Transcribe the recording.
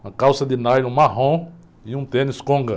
Uma calça de nylon marrom e um tênis conga.